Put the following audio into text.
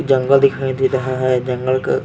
जंगल दिखाई दे रहा है जंगल का--